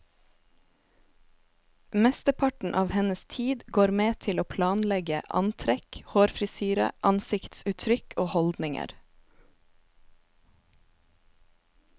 Mesteparten av hennes tid går med til å planlegge antrekk, hårfrisyre, ansiktsuttrykk og holdninger.